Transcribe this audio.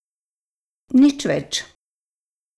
Nič več.